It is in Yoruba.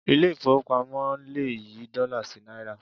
Ilé ìfowópamọ́ le yí dọ́là sí náírà.